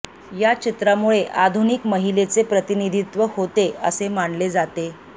या चित्रामुळे आधुनिक महिलेचे प्रतिनिधित्व होते असे मानले जाते